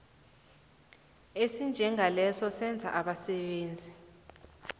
esinjengaleso senza abasebenzi